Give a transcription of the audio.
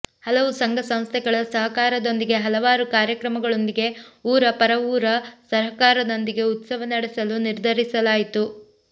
ಹಲವು ಸಂಘ ಸಂಸ್ಥೆಗಳ ಸಹಕಾರದೊಂದಿಗೆ ಹಲವಾರು ಕಾರ್ಯಕ್ರಮಗಳೊಂದಿಗೆ ಊರ ಪರವೂರ ಸಹಕಾರದೊಂದಿಗೆ ಉತ್ಸವ ನಡೆಸಲು ನಿರ್ಧರಿಸಲಾಯಿತು